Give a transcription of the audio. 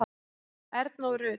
Erna og Rut.